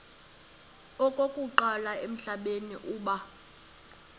okokuqala emhlabeni uba